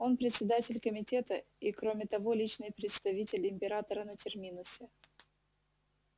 он председатель комитета и кроме того личный представитель императора на терминусе